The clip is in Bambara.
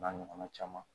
N'a ɲɔgɔnna caman